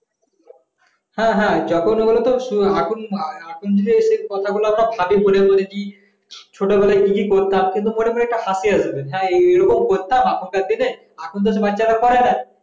হ্যাঁ হ্যাঁ যখন বলেতো এখন যদি কথা গুলো ভাবি মনে মনে ভাবি যে ছোটবেলায় কি কি করতাম সেটা মনে মনে হাসি আসবে এখন হ্যাঁ এই রকম করতাম এখন তো